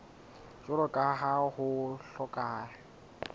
jwalo ka ha ho hlokeha